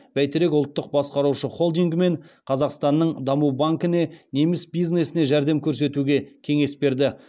бәйтерек ұлттық басқарушы холдингі мен қазақстанның даму банкіне неміс бизнесіне жәрдем көрсетуге кеңес берді